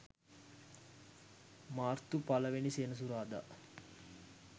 මාර්තු 01 සෙනසුරාදා